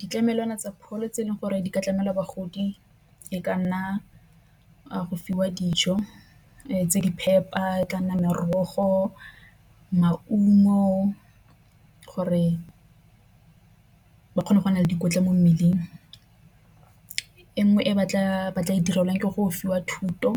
Ditlamelwana tsa pholo tse e leng gore di ka tlamela bagodi e ka nna go fiwa dijo tse di phepa, e ka nna merogo maungo gore ba kgone go na le dikotla mo mmeleng. E nngwe e batla maatla e direlwang ke go fiwa thuto